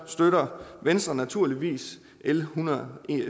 støtter venstre naturligvis l en hundrede